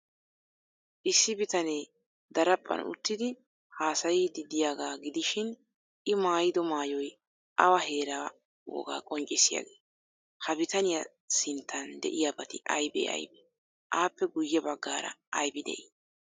Issi bitanee daraphphan uttidi haasayiiddi de'iyaaga gidishin, I maayido maayoy awa heeraa wogaa qonccissiyaagee? Ha bitaniya sinttan de'iyaabati aybee aybee? Appe guyye baggaara aybi de'ii?